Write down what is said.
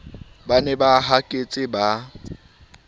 ba ne ba haketse ba